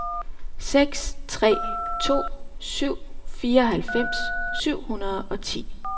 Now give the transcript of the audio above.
seks tre to syv fireoghalvfems syv hundrede og ti